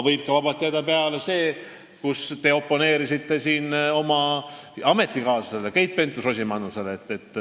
Aga vabalt võib peale jääda see arvamus, mis on teie ametikaaslasel Keit Pentus-Rosimannusel.